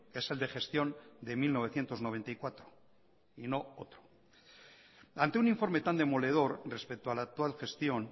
es el de gestión de mil novecientos noventa y cuatro y no otro ante un informe tan demoledor respecto a la actual gestión